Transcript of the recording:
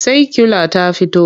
Saikyula ta fito?